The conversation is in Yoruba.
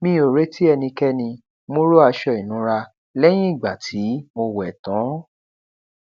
mi ò retí ẹnikéni mo ró aṣọ ìnura lẹyìn ìgbà tí mo wẹ tán